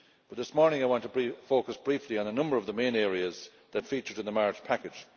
This morning I want to focus briefly on a number of the main areas that featured in the March package.